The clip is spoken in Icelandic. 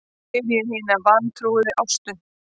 spyr ég hina vantrúuðu Ástu.